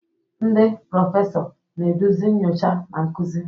Ndị prọfesọ, na-eduzi nyocha na nkuzi.